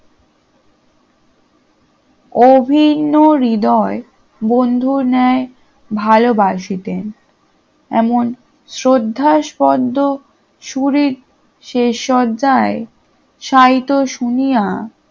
অভিন্ন হৃদয় বন্ধুর ন্যায় ভালবাসিতেন এমন শ্রদ্ধাস্ফদ্দ সুরে শেষ শয্যায় শায়িত শুনিয়া